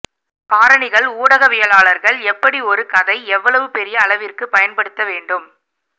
காரணிகள் ஊடகவியலாளர்கள் எப்படி ஒரு கதை எவ்வளவு பெரிய அளவிற்கு பயன்படுத்த வேண்டும்